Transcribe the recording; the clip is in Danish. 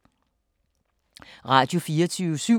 Radio24syv